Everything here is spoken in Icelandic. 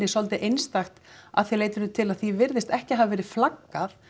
svolítið einstakt að því leytinu til að því virðist ekki hafa verið flaggað